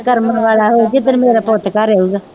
ਕਰਮਾਂ ਵਾਲਾ ਹੋਊ ਜਿੱਦਣ ਮੇਰਾ ਪੁੱਤ ਘਰ ਆਊਗਾ